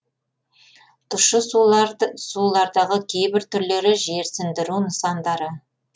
тұщы сулардағы кейбір түрлері жерсіндіру нысандары